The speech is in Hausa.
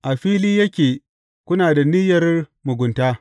A fili yake kuna da niyyar mugunta.